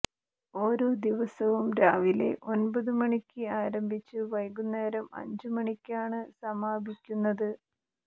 ഓരോ ദിവസവും രാവിലെ ഒന്പതു മണിക്ക് ആരംഭിച്ച് വൈകുന്നേരം അഞ്ചു മണിക്കാണ് സമാപിക്കുന്നത്